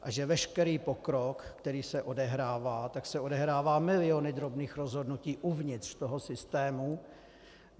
A že veškerý pokrok, který se odehrává, tak se odehrává miliony drobných rozhodnutí uvnitř toho systému.